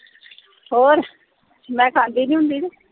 ਹੋਰ। ਮੈਂ ਖਾਂਦੀ ਨੀ ਹੁੰਦੀ ਕੇ।